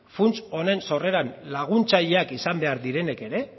funts honen sorreran laguntzaileak izan behar direnek ere